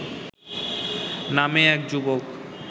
নামে এক যুবক